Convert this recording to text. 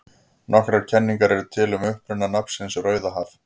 Nokkrar kenningar eru til um uppruna nafnsins Rauðahaf.